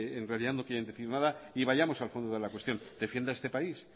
en realidad no quieren decir nada y vayamos al fondo de la cuestión defienda este país